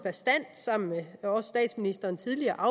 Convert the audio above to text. sammen med statsministeren tidligere